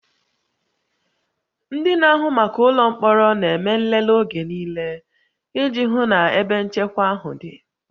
Ndị na-ahụ maka ụlọ mkpọrọ na-eme nlele oge niile iji hụ na ebe nchekwa ahụ dị